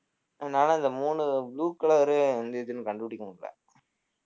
அதனால இந்த மூணு blue color உ எந்த இதுன்னு கண்டுபிடிக்கமுடியல